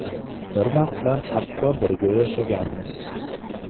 Bir vaqtlar hatto birga yashaganmiz.